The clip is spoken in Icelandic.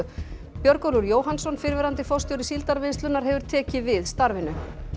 Björgólfur Jóhannsson fyrrverandi forstjóri Síldarvinnslunnar hefur tekið við starfinu